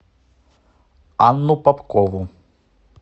анну попкову